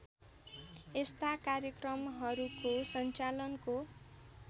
यस्ता कार्यक्रमहरूको सञ्चालनको